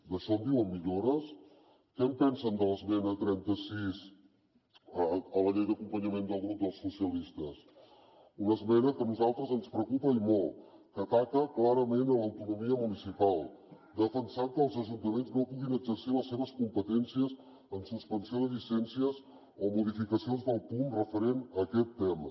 d’això en diuen millores què en pensen de l’esmena trenta sis a la llei d’acompanyament del grup socialistes una esmena que a nosaltres ens preocupa i molt que ataca clarament l’autonomia municipal defensant que els ajuntaments no puguin exercir les seves competències en suspensió de llicències o modificacions del poum referent a aquest tema